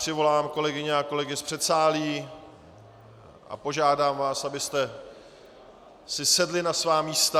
Přivolám kolegyně a kolegy z předsálí a požádám vás, abyste si sedli na svá místa.